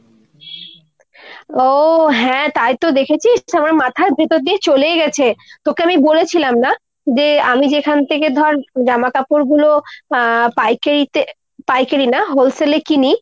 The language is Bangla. ও হ্যাঁ তাই তো। দেখেছিস আমার মাথার ভেতর দিয়ে চলেই গেছে। তোকে আমি বলেছিলাম না যে আমি যেখান থেকে ধর জামাকাপড়গুলো আহ পাইকারিতে পাইকারি না wholesale এ কিনি